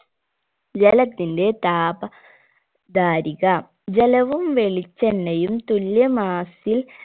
ജലത്തിന്റെ താപ ധാരിക ജലവും വെളിച്ചെണ്ണയും തുല്യ mass ൽ